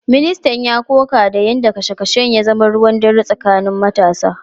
Ministan ya koka da yadda kashe kashen ya zama ruwan dare tsakanin matasa.